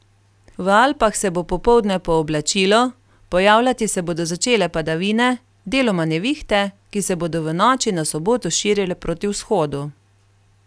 V Alpah se bo popoldne pooblačilo, pojavljati se bodo začele padavine, deloma nevihte, ki se bodo v noči na soboto širile proti vzhodu.